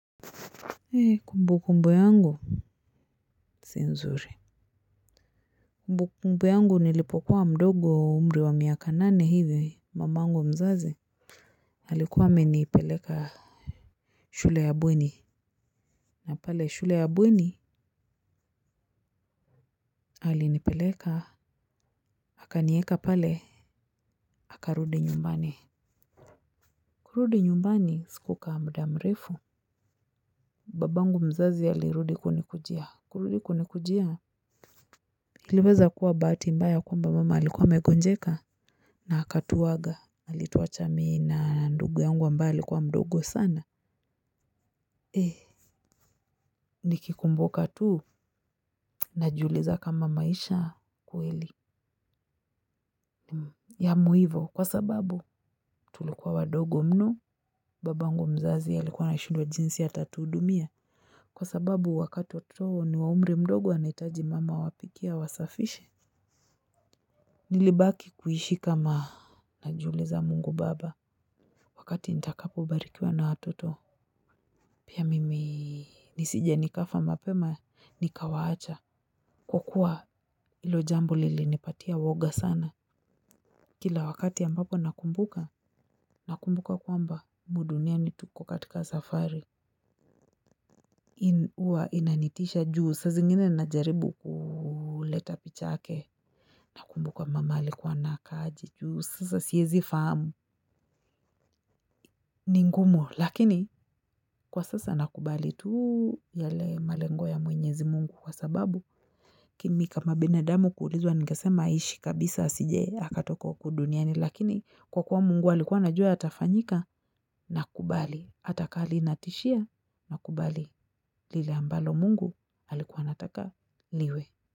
Hii kumbukumbu yangu Sinzuri kumbukumbu yangu nilipokuwa mdogo umri wa miaka nane hivi mamangu mzazi alikuwa amenipeleka shule ya bweni. Na pale shule ya bweni alinipeleka akanieka pale akarudi nyumbani. Kurudi nyumbani sikukaa muda mrefu. Babangu mzazi alirudi kunikujia. Kurudi kunikujia aliweza kuwa bahati mbaya kwamba mama alikuwa amegonjeka. Na akatuwaga. Na alituwacha mi na ndugu yangu ambae alikuwa mdogo sana. Eh, nikikumbuka tuu najiuliza kama maisha kweli. Ya muhivo, kwa sababu tulikuwa wadogo mno, babangu mzazi alikuwa anashindwa jinsi atatuhudumia. Kwa sababu wakati watoto wana umri mdogo wanahitaji mama awapikie, awasafishe. Nilibaki kuishi kama najiuliza Mungu baba. Wakati nitakapo barikiwa na watoto pia mimi nisije nikafa mapema nikawaacha. Kwakua hilo jambo lilinipatia uwoga sana. Kila wakati ambapo nakumbuka. Nakumbuka kwamba humu duniani tuko katika safari. Uwa inanitisha juu saa zingine najaribu kuuleta picha yake. Nakumbuka mama alikua anakaaje juu sasa siezi fahamu. Ningumu lakini kwa sasa nakubali tuu yale malengo ya mwenyezi Mungu kwa sababu mimi kama binadamu kuulizwa ningesema aishi kabisa asije akatoka huku duniani lakini kwa kuwa Mungu alikuwa anajua yatafanyika nakubali atakaa linatishia nakubali lile ambalo Mungu alikuwa anataka liwe.